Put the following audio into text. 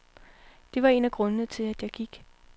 Det var en af grundene til, at jeg gik.